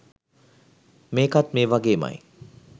මේකත් මේ වගේමයි